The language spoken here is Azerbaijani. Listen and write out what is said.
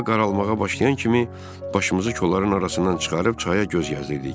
Hava qaralmağa başlayan kimi başımızı kolların arasından çıxarıb çaya göz gəzdirdik.